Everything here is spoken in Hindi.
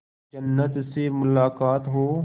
जन्नत से मुलाकात हो